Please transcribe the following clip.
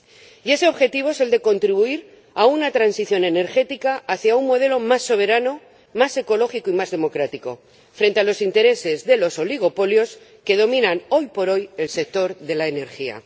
Y ese objetivo es el de contribuir a una transición energética hacia un modelo más soberano, más ecológico y más democrático frente a los intereses de los oligopolios que dominan, hoy por hoy, el sector de la energía.